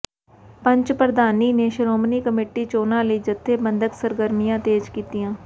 ਪੰਚ ਪ੍ਰਧਾਨੀ ਨੇ ਸ਼੍ਰੋਮਣੀ ਕਮੇਟੀ ਚੋਣਾਂ ਲਈ ਜਥੇਬੰਦਕ ਸਰਗਰਮੀਆਂ ਤੇਜ ਕੀਤੀਆਂ